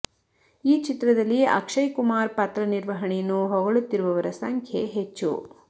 ಈ ಚಿತ್ರದಲ್ಲಿ ಅಕ್ಷಯ್ ಕುಮಾರ್ ಪಾತ್ರ ನಿರ್ವಹಣೆಯನ್ನು ಹೊಗಳುತ್ತಿರುವವರ ಸಂಖ್ಯೆ ಹೆಚ್ಚು